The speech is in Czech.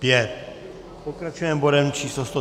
Pokračujeme bodem číslo